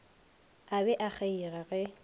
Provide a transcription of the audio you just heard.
a be a kgeiga ge